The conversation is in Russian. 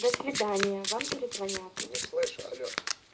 до свидания вам перезвонят не слышу алло